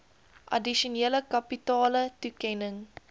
addisionele kapitale toekenning